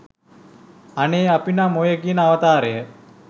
අනේ අපි නම් ඔය කියන අවතාරය